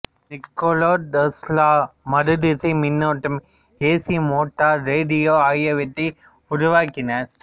Nicolas Tesla மாறுதிசை மின்னோட்டம் AC motor radio ஆகியவற்றை உருவாக்கினார்